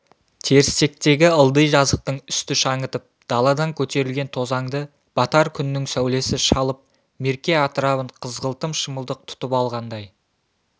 терістіктегі ылди жазықтың үсті шаңытып даладан көтерілген тозаңды батар күннің сәулесі шалып мерке атырабын қызғылтым шымылдық тұтып алғандай